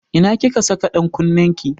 Ina kika saka ɗan kunnen ki?